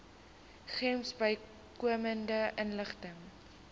gems bykomende inligting